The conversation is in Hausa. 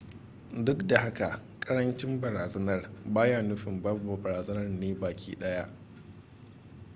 duk da haka karancin barazanar ba yana nufin babu barazanar ne baki daya ba